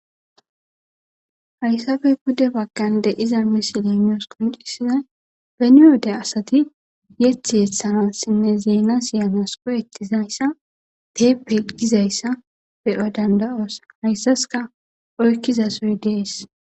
hayssappe pude baggan diza misiley nuusi qoncisina beniyodde asati yethi hethana sinne zeena siyanasqoyettizayssa teepelqizayssa be'o danda'osa hayssaska oykkizasoy dees